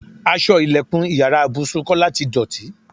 Aṣọ ìlẹ̀kùn ìyára ibùsùn Kọ́lá ti dọ̀tí.